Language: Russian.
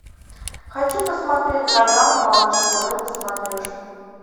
хочу посмотреть канал малыш тв на смотрешке